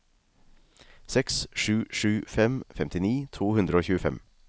seks sju sju fem femtini to hundre og tjuefem